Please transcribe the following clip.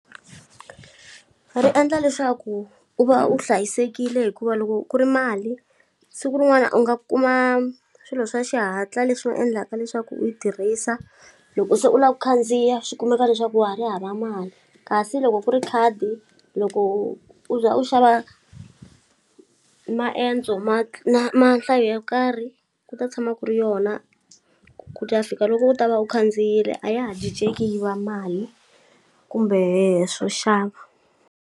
Ri endla leswaku u va u hlayisekile hikuva loko ku ri mali siku rin'wana u nga kuma swilo swa xihatla leswi nga endlaka leswaku u yi tirhisa loko se u la ku khandziya swi kumeka leswaku wa ha ri hava mali kasi loko ku ri khadi loko u za u xava maendzo ma na ma nhlayo yo karhi ku ta tshama ku ri yona ku ta fika loko u ta va u khandziyile a ya ha ciceki yi va mali kumbe swo xava.